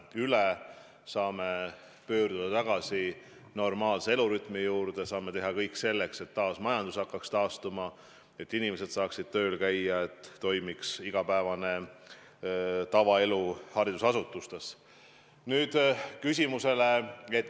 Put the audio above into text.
Siis saame pöörduda tagasi normaalse elurütmi juurde, saame teha kõik selleks, et taas majandus hakkaks taastuma, et inimesed saaksid tööl käia, et toimiks igapäevane tavaelu haridusasutustes.